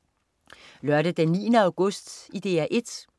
Lørdag den 9. august - DR 1: